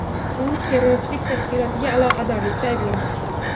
U terrorchilik tashkilotiga aloqadorlikda ayblanmoqda.